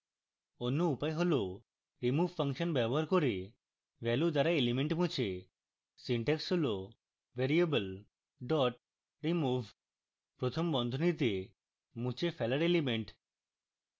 অন্য উপায় হল remove ফাংশন ব্যবহার করে value দ্বারা element মুছে